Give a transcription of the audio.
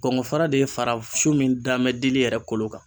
Kɔngɔ fara de ye fara so min damɛ dili yɛrɛ kolo kan.